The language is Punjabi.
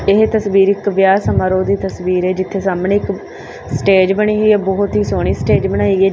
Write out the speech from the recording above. ਇਹ ਤਸਵੀਰ ਇੱਕ ਵਿਆਹ ਸਮਾਰੋਹ ਦੀ ਤਸਵੀਰ ਹੈ ਜਿੱਥੇ ਸਾਹਮਣੇ ਇੱਕ ਸਟੇਜ ਬਣੀ ਹੋਇਆ ਬਹੁਤ ਹੀ ਸੋਹਣੀ ਸਟੇਜ ਬਣਾਈ ਗਈ।